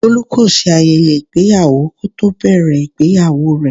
Bolu kò ṣe ayẹyẹ ìgbéyàwó kò tó bẹ̀rẹ̀ ìgbéyàwó rẹ.